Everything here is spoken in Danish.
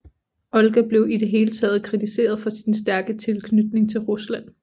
Olga blev i det hele taget kritiseret for sin stærke tilknytning til Rusland